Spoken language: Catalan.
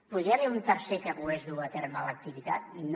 podria haver hi un tercer que pogués dur a terme l’activitat no